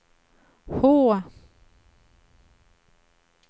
H